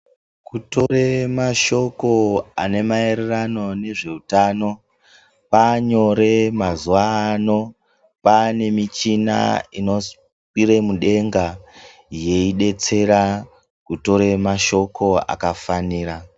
Kutora mashoko ane maererano nezveutano kwanyore mazuwa no kwanemushina inokwira yeidetsera kutora mashoko anobatsaira.